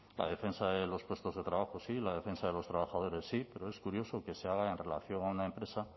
la defensa de los puestos de trabajo sí la defensa de los trabajadores sí pero es curioso que se haga en relación a una empresa